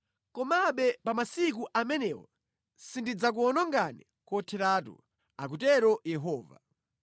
“Komabe pa masiku amenewo sindidzakuwonongani kotheratu,” akutero Yehova.